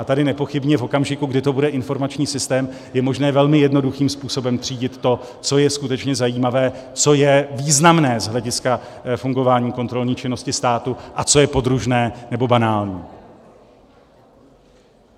A tady nepochybně v okamžiku, kdy to bude informační systém, je možné velmi jednoduchým způsobem třídit to, co je skutečně zajímavé, co je významné z hlediska fungování kontrolní činnosti státu a co je podružné nebo banální.